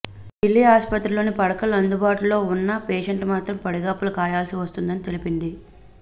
ఢిల్లీ ఆస్పత్రుల్లో పడకలు అందుబాటులో ఉన్నా పేషెంట్లు మాత్రం పడిగాపులు కాయాల్సి వస్తున్నదని తెలిపింది